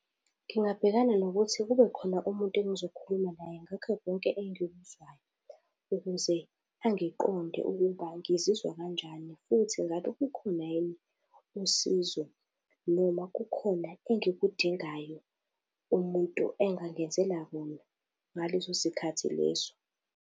Ngingabhekana nokuthi kube khona umuntu engizokhuluma naye ngakho konke engikuzwayo, ukuze angiqonde ukuba ngizizwa kanjani, futhi ngabe kukhona yini usizo noma kukhona engikudingayo umuntu engangenzela khona ngaleso sikhathi leso.